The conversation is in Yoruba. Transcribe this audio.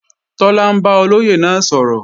Tọ́lá ń bá olóyè náà sọ̀rọ̀